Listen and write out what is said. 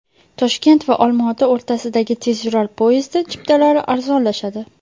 Toshkent va Olmaota o‘rtasidagi tezyurar poyezdi chiptalari arzonlashadi.